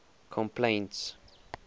complaints